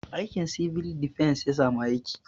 Aikin 'Civil Defence' ya samu